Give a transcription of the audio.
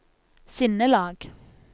sinnelag